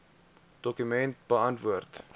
dokument beantwoord